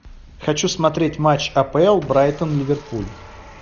хочу смотреть матч апл брайтон ливерпуль